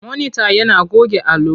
Monita yana goge allo.